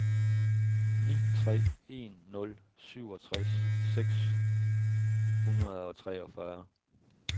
ni tre en nul syvogtres seks hundrede og treogfyrre